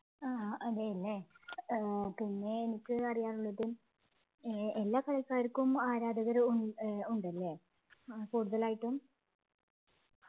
ആഹ് അതെയല്ലേ ഏർ പിന്നെ എനിക്ക് അറിയാനുള്ളത് ഏർ എല്ലാം കളിക്കാർക്കും ആരാധകരുണ്ട് ഉ ഉണ്ടല്ലേ കൂടുതലായിട്ടും